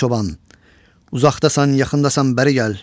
Ay çoban, uzaqdasan, yaxındasan, bəri gəl.